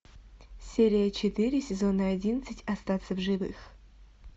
серия четыре сезона одиннадцать остаться в живых